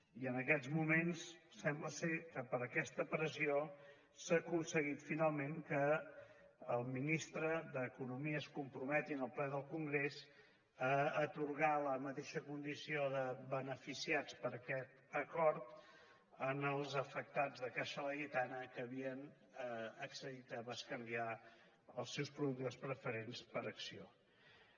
i en aquests moments sembla que per aquesta pressió s’ha aconseguit finalment que el ministre d’economia es comprometi en el ple del congrés a atorgar la mateixa condició de beneficiats per aquest acord als afectats de caixa laietana que havien accedit a bescanviar els seus productes preferents per accions